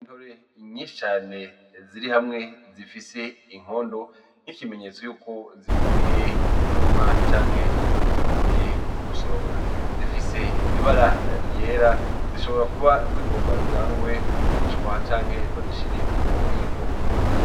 Intore nyinshi cane ziri hamwe zifise inkondo nk'ikimenyetso y'uko zivuye mu murima canke zivuye gusoromwa. Zifise ibara ryera zishobora kuba zigomba zijanwe kugurishwa canke bazishire mu bubiko.